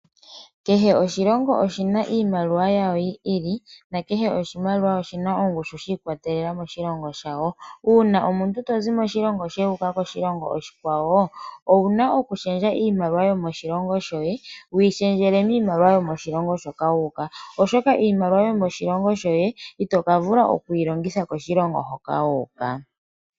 Oshilongo kehe oshi na iimaliwa yasho yi ili na kehe oshilongo oshi na iimaliwa yi na ongushu shiikwatelela moshilongo shawo. Uuna omuntu tozi moshilongo sheni toyi mosholongo oshikwawo owu na okushendja iimaliwa yoye wuyi shendjele miimaliwa yomoshilongo shoka wu uka oshoka iimaliwa yomoshilongo shoye ito vulu oku yi longitha moshilongo shoka.